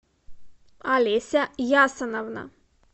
олеся ясоновна